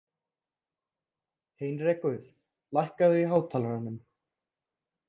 Heinrekur, lækkaðu í hátalaranum.